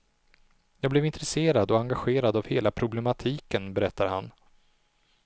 Jag blev intresserad och engagerad av hela problematiken, berättar han.